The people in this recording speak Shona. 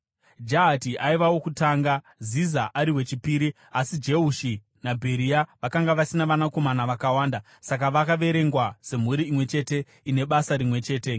(Jahati aiva wokutanga, Ziza ari wechipiri, asi Jeushi naBheria vakanga vasina vanakomana vakawanda; saka vakaverengwa semhuri imwe chete ine basa rimwe chete.)